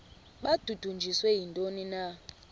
babudunjiswe yintoni na